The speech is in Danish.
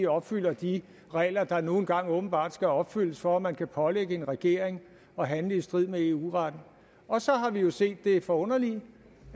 opfylder de regler der nu engang åbenbart skal opfyldes for at man kan pålægge en regering at handle i strid med eu retten og så har vi jo set det forunderlige